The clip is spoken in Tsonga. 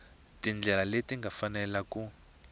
tindlela leti nga fanela ku